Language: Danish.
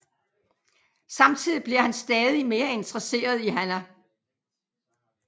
Samtidig bliver han stadig mere interesseret i Hana